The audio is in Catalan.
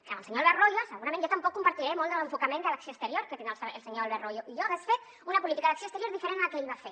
que amb el senyor albert royo segurament jo tampoc comparteixo molt de l’enfocament de l’acció exterior que té el senyor albert royo jo hagués fet una política d’acció exterior diferent a la que ell va fer